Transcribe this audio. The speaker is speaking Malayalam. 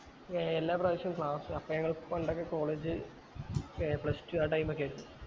ഏർ എല്ലാ പ്രവിശ്യവും class അപ്പൊ ഞങ്ങൾ പണ്ടൊക്കെ college ഏർ pluss two ആ time ഒക്കെ ആയിരുന്നു